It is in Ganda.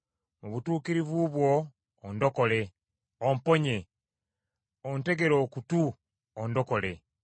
Mu butuukirivu bwo ondokole, omponye; ontegere okutu ondokole.